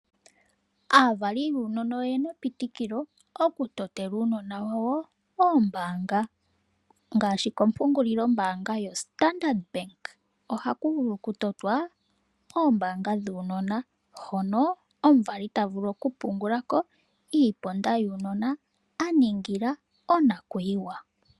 Aavali yuunona oye na epitikilo okutotela uunona wawo omayalulo gombaanga. Ngaashi kompungulilombaanga yoStandard Bank ohaku vulu okutotwa omayalulo gombaanga guunona, hono omuvali ta vulu okupungula ko iiponda yuunona a ningila onakuyiwa.